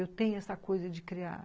Eu tenho essa coisa de criar.